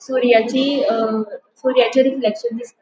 सूर्याची अ सूर्याचे रिफ्लेक्शन दिस --